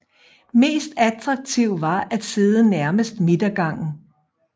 Mest attraktiv var at sidde nærmest midtergangen